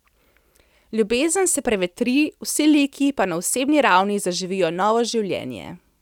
Ljubezen se prevetri, vsi liki pa na osebni ravni zaživijo novo življenje.